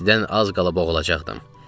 İstidən az qalıb boğulacaqdım.